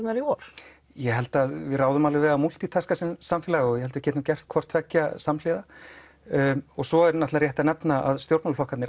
í vor ég held að við ráðum alveg við að múltítaska sem samfélag og ég held að við getum gert hvort tveggja samhliða svo er rétt að nefna að stjórnmálaflokkarnir